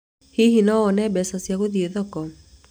Hihi nĩ wona mbeca cia gũthiĩ thoko?